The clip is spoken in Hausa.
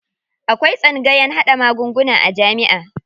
Akwai tsangayan haɗa magunguna a jamiʼa.